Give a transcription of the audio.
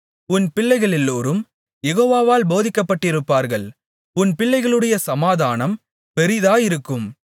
உன் பிள்ளைகளெல்லோரும் யெகோவாவால் போதிக்கப்பட்டிருப்பார்கள் உன் பிள்ளைகளுடைய சமாதானம் பெரிதாயிருக்கும்